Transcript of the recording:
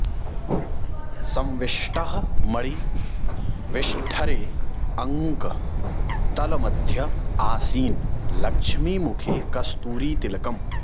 संविष्टः मणि विष्ठरे अङ्क तल मध्य आसीन लक्ष्मी मुखे कस्तूरी तिलकम्